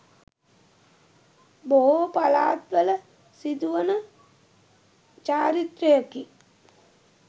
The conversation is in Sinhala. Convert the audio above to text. බොහෝ පළාත්වල සිදුවන චාරිත්‍රයකි.